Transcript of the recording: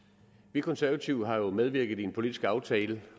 vi konservative har jo medvirket i en politisk aftale